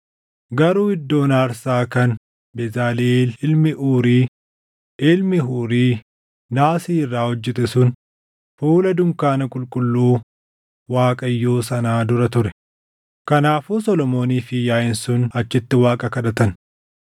Garuu iddoon aarsaa kan Bezaliʼeel ilmi Uuri, ilmi Huuri naasii irraa hojjete sun fuula dunkaana qulqulluu Waaqayyoo sanaa dura ture; kanaafuu Solomoonii fi yaaʼiin sun achitti Waaqa kadhatan.